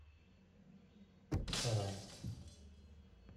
саранск